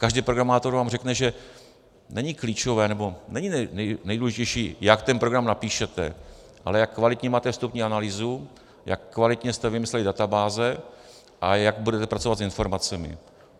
Každý programátor vám řekne, že není klíčové, nebo není nejdůležitější, jak ten program napíšete, ale jak kvalitní máte vstupní analýzu, jak kvalitně jste vymysleli databáze a jak budete pracovat s informacemi.